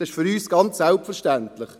Das ist für uns ganz selbstverständlich.